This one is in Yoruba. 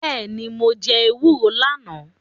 Bẹ́ẹ̀ni, mo jẹ́ èkuru lánàá.